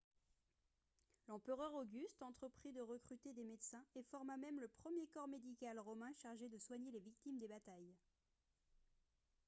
l'empereur auguste entreprit de recruter des médecins et forma même le premier corps médical romain chargé de soigner les victimes des batailles